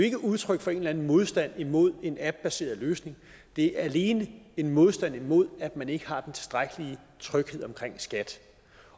ikke udtryk for en eller anden modstand imod en appbaseret løsning det er alene en modstand imod at man ikke har den tilstrækkelige tryghed om skat